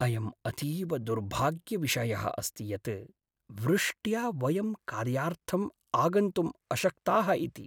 अयम् अतीव दुर्भाग्यविषयः अस्ति यत् वृष्ट्या वयं कार्यार्थम् आगन्तुम् अशक्ताः इति।